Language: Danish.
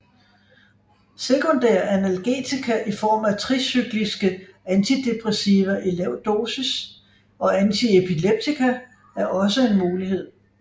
Sekundære analgetika i form af tricykliske antidepressiva i lav dosis og antiepileptika er også en mulighed